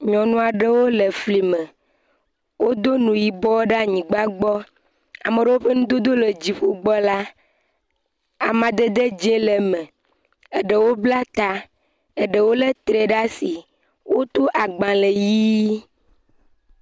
Nyɔnu aɖewo le fli me. Wodo nu yibɔ ɖe anyigba gbɔ. Ame ɖewo ƒe nudodo le dziƒo gbɔ la, amadede dze le me. Eɖewo bla ta, eɖewo le tre ɖe asi. Woto agbale ʋi.